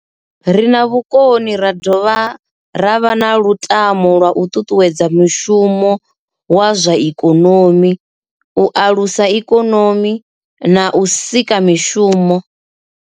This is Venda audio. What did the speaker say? Ri na vhukoni ra dovha ra vha na lutamo lwa u ṱuṱuwedza mushumo wa zwa ikonomi, u alusa ikonomi na u sika mishumo.